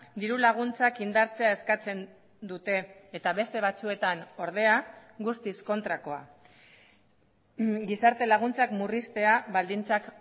dirulaguntzak indartzea eskatzen dute eta beste batzuetan ordea guztiz kontrakoa gizarte laguntzak murriztea baldintzak